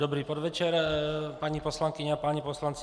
Dobrý podvečer, paní poslankyně a páni poslanci.